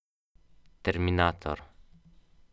Da ima zeta, namreč.